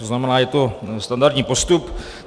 To znamená, je to standardní postup.